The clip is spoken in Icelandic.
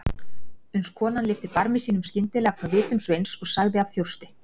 Uns konan lyfti barmi sínum skyndilega frá vitum Sveins og sagði af þjósti